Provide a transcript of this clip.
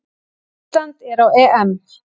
Ísland er á EM!